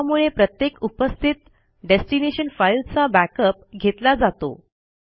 यामुळे प्रत्येक उपस्थित डेस्टिनेशन फाईलचा बॅकअप घेतला जातो